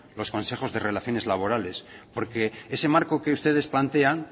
los consejos de relaciones laborales porque ese marco que ustedes plantean